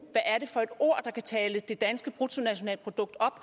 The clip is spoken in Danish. hvad er det for et ord der kan tale det danske bruttonationalprodukt op